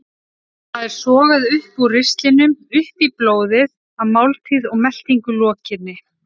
Það er sogað upp úr ristlinum út í blóðið að máltíð og meltingu lokinni.